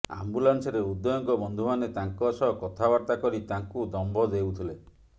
ଆମ୍ବୁଲାନ୍ସରେ ଉଦୟଙ୍କ ବନ୍ଧୁମାନେ ତାଙ୍କ ସହ କଥାବାର୍ତ୍ତା କରି ତାଙ୍କୁ ଦମ୍ଭ ଦେଉଥିଲେ